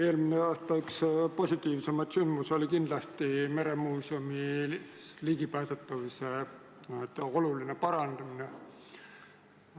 Eelmine aasta oli üks positiivsemaid sündmusi kindlasti meremuuseumi ligipääsetavuse oluline parandamine.